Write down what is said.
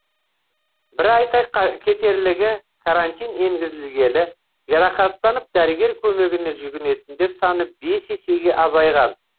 бір айта кетерлігі карантин енгізілгелі жарақаттанып дәрігер көмегіне жүгінетіндер саны бес есеге азайған